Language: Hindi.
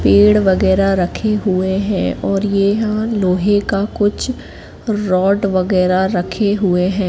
पेड़ वगैरह रखे हुए हैं और ये यहां लोहे के कुछ रॉड वगैरह रखे हुए हैं।